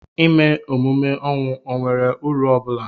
ịme emume ọnwụ ọ nwere uru ọ bụla?